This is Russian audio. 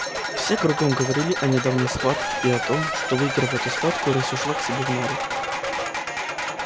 все кругом говорило о недавней схватке и о том что выиграв эту схватку рысь ушла к себе в нору